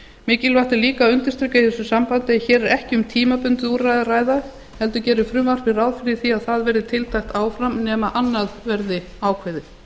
mikilvægt er líka að undirstrika í þessu sambandi að hér er ekki um tímabundið úrræði að ræða heldur gerir frumvarpið ráð fyrir áframhaldi þess nema annað verði ákveðið